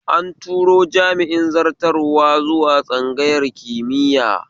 An turo jami'in zartarwa zuwa tsangayar kimiya